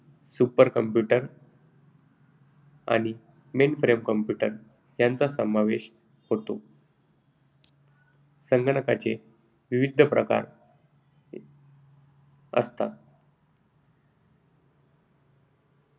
super computer आणि mainframe यांचा समावेश होतो. संगणकाचे विविध प्रकार असतात.